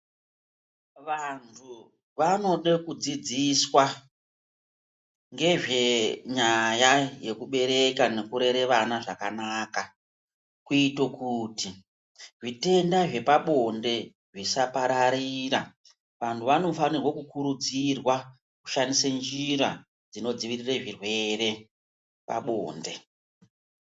Vanhu vanode kudzidziswa ngezvenyaya yekubereka nekurera vana zvakanaka kuito kuti zvitenda zvepabonde zvisapararira. Vanhu vanofanirwa kukurudzirwa kushandisa njira dzinodzivirirwa zvirwere pabonde.